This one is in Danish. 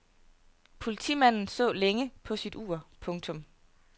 Politimanden så længe på sit ur. punktum